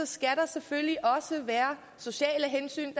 skal der selvfølgelig også være sociale hensyn